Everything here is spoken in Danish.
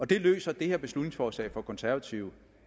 det løser det her beslutningsforslag fra de konservative